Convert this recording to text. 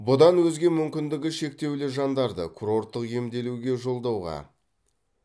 бұдан өзге мүмкіндігі шектеулі жандарды курорттық емделуге жолдауға